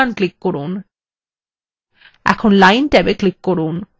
এখন line ট্যাবে click করুন